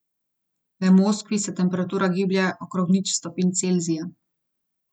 V Moskvi se temperatura giblje okrog nič stopinj Celzija.